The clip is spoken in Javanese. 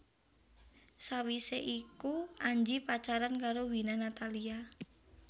Sawisé iku Anji pacaran karo Wina Natalia